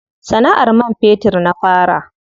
Sana'ar man fetur na fara.